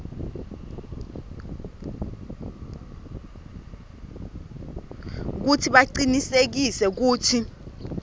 kutsi bacinisekise kutsi